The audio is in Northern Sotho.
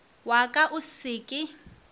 wa ka o se ke